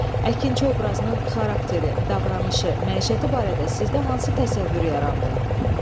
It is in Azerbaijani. Əkinçi obrazının xarakteri, davranışı, məişəti barədə sizdə hansı təsəvvür yarandı?